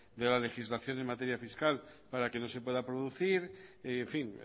de la legislación en materia fiscal para que no se pueda producir en fin